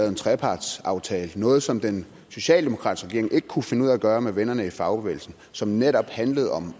en trepartsaftale noget som den socialdemokratiske ikke kunne finde ud af at gøre med vennerne i fagbevægelsen som netop handler om